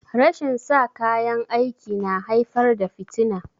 Rashin sa kayan aiki na haifar da fitina